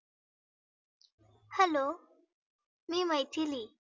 hello मी मैथिली.